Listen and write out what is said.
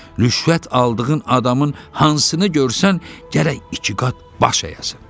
Rüşvət aldığın adamın hansını görsən, gərək iki qat baş əyəsən.